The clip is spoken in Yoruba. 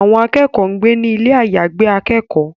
Àwọn akẹ́kọ̀ọ́ ń gbé ní ilé àyàgbé akẹ́kọ̀ọ́